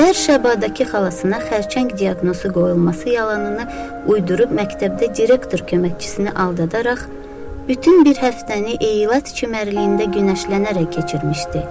Ber Şevadakı xalasına xərçəng diaqnozu qoyulması yalanını uydurub məktəbdə direktor köməkçisini aldadaraq bütün bir həftəni eylat çimərliyində günəşlənərək keçirmişdi.